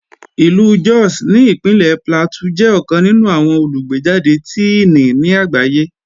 Ìlú Jos ní Ìpínlẹ̀ Plateau jẹ́ ọ̀kan nínú àwọn olùgbéjàde Tíìnì ní àgbáyé